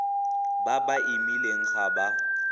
ba ba imileng ga ba